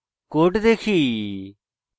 লেখা কোড দেখি